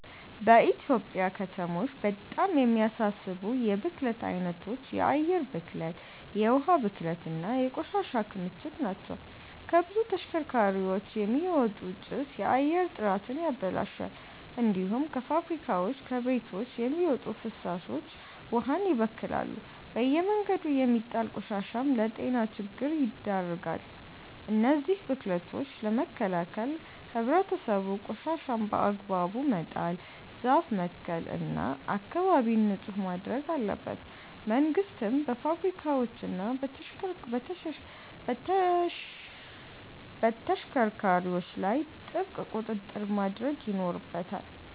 በኢትዮጵያ ከተሞች በጣም የሚያሳስቡ የብክለት አይነቶች የአየር ብክለት፣ የውሃ ብክለት እና የቆሻሻ ክምችት ናቸው። ከብዙ ተሽከርካሪዎች የሚወጣ ጭስ የአየር ጥራትን ያበላሻል። እንዲሁም ከፋብሪካዎችና ከቤቶች የሚወጡ ፍሳሾች ውሃን ይበክላሉ። በየመንገዱ የሚጣል ቆሻሻም ለጤና ችግር ይዳርጋል። እነዚህን ብክለቶች ለመከላከል ህብረተሰቡ ቆሻሻን በአግባቡ መጣል፣ ዛፍ መትከል እና አካባቢን ንጹህ ማድረግ አለበት። መንግስትም በፋብሪካዎችና በተሽከርካሪዎች ላይ ጥብቅ ቁጥጥር ማድረግ ይኖርበታል።